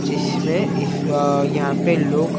जिसमें इस अ यहाँ पे लोग--